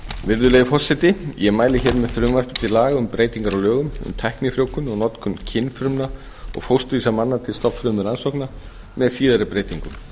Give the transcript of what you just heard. virðulegi forseti ég mæli hér fyrir frumvarpi til laga um breytingu á lögum um tæknifrjóvgun og notkun kynfrumna og fósturvísa manna til stofnfrumurannsókna með síðari breytingum